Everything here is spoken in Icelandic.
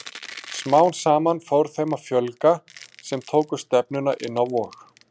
Smám saman fór þeim að fjölga sem tóku stefnuna inn á Vog.